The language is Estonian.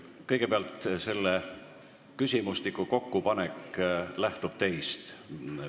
Kõigepealt, infotunni küsimustiku kokkupanek lähtub teist.